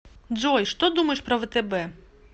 джой что думаешь про втб